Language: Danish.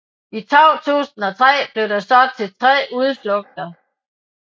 I 2003 blev det så til tre udflugter